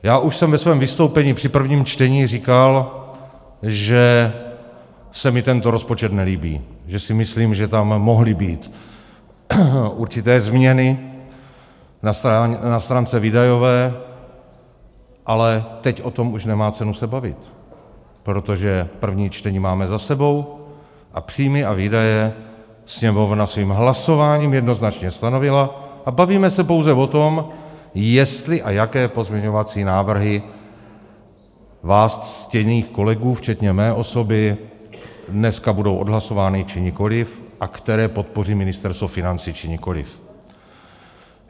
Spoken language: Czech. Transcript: Já už jsem ve svém vystoupení při prvním čtení říkal, že se mi tento rozpočet nelíbí, že si myslím, že tam mohly být určité změny na stránce výdajové, ale teď o tom už nemá cenu se bavit, protože první čtení máme za sebou a příjmy a výdaje Sněmovna svým hlasováním jednoznačně stanovila a bavíme se pouze o tom, jestli a jaké pozměňovací návrhy vás, ctěných kolegů včetně mé osoby, dneska budou odhlasovány, či nikoliv a které podpoří Ministerstvo financí, či nikoliv.